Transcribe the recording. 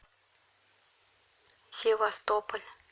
севастополь